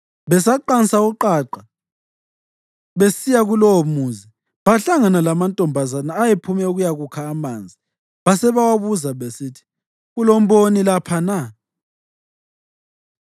Besaqansa uqaqa besiya kulowomuzi bahlangana lamantombazana ayephume ukuyakukha amanzi basebewabuza besithi, “Kulomboni lapha na?”